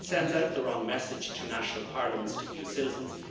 It sends out the wrong message to national parliaments, to EU citizens.